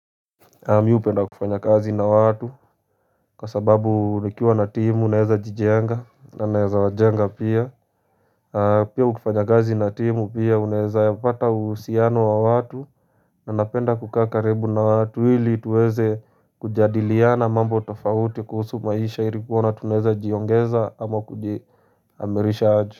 Mimi hupenda kufanya kazi na watu kwa sababu nikiwa na timu naweza jijenga na naweza wajenga pia Pia ukifanya kazi na timu pia unaweza pata uhusiano wa watu na napenda kukaa karibu na watu Hili tuweze kujadiliana mambo tafauti kuhusu maisha ilikuwa na tuneza jiongeza ama kujihamirisha aju.